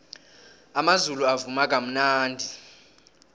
amazulu avuma kamnandi